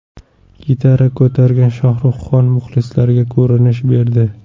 Gitara ko‘targan Shohruxxon muxlislariga ko‘rinish berdi.